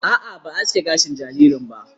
A'a, ba a aske gashin jaririn ba.